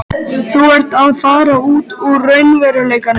Þú ert að fara út úr raunveruleikanum.